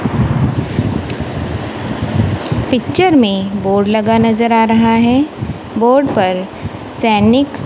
picture में board लगा नजर आ रहा है बोर्ड पर सैनिक--